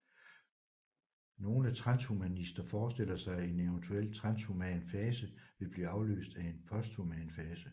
Nogle transhumanister forestiller sig at en eventuel transhuman fase vil blive afløst af en posthuman fase